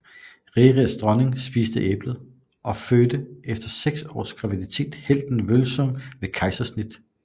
Rerirs dronning spiste æblet og fødte efter seks års graviditet helten Vølsung ved kejsersnit